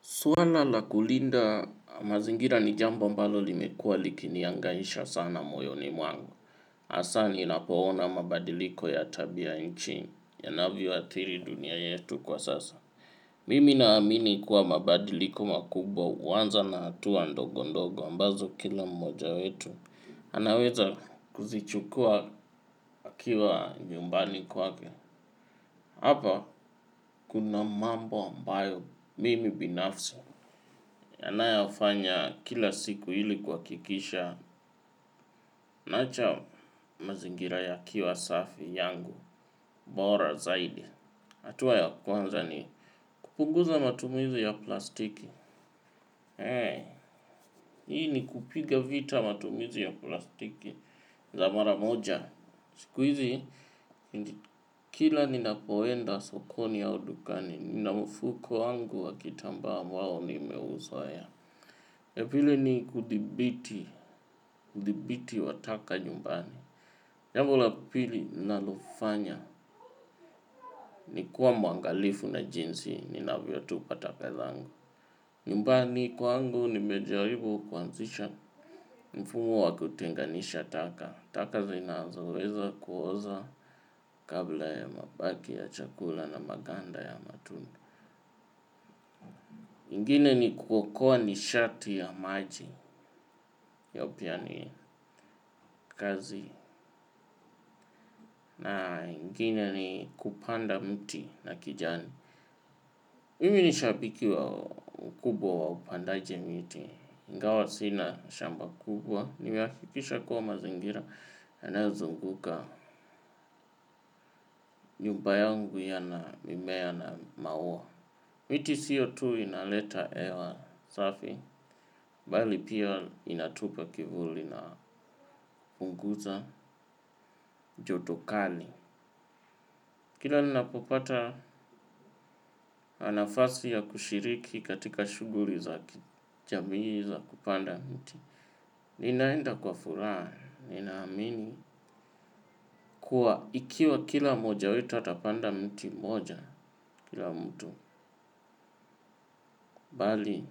Suala la kulinda mazingira ni jambo ambalo limekuwa likinihangaisha sana moyoni mwangu. Hasa ninapoona mabadiliko ya tabianchi na yanavyoathiri dunia yetu kwa sasa. Mimi naamini kuwa mabadiliko makubwa huanza na hatua ndogo ndogo ambazo kila mmoja wetu. Anaweza kuzichukua akiwa nyumbani kwake. Hapa kuna mambo ambayo mimi binafsi. Yanayofanywa kila siku ili kuhakikisha. Naacha mazingira yakiwa safi yangu. Bora zaidi. Hatua ya kwanza ni kupunguza matumizi ya plastiki. Hii ni kupiga vita matumizi ya plastiki. Za mara moja. Siku hizi, kila ninapoenda sokoni au dukani, nina mfuko wangu wa kitambaa ambao nimeuzoea. Pili ni kudhibiti, udhibiti wa taka nyumbani. Jambo la pili ninalofanya ni kuwa mwangalifu na jinsi ninavyotupa taka zangu. Nyumbani kwangu nimejaribu kuanzisha mfumo wa kutenganisha taka. Taka zinazoweza kuoza kama mabaki ya chakula na maganda ya matunda. Ingine ni kuokoa nishati ya maji. Hiyo pia ni kazi na ingine ni kupanda mti na kijani. Mimi ni shabiki mkubwa wa upandaji miti. Ingawa sina shamba kubwa, nimehakikisha kuwa mazingira yanayozunguka nyumba yangu yana mimea na maua. Miti CO2 inaleta hewa safi, bali pia inatupa kivuli na kupunguza joto kali. Kila ninapopata nafasi ya kushiriki katika shughuli za jamii za kupanda miti. Ninaenda kwa furaha, ninaamini kuwa ikiwa kila mmoja wetu atapanda mti mmoja kila mtu. Pale,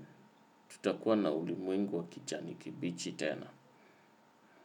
tutakuwa na ulimwengu wa kijani kibichi tena.